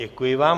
Děkuji vám.